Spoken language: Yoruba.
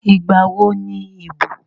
Ìgbà wo ni ìbò?